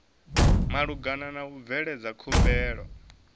malugana na u bveledza khumbelo